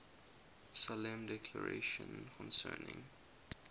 solemn declaration concerning